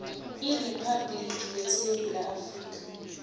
eriphabhligini yesewula afrika